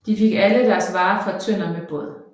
De fik alle bragt deres varer fra Tønder med båd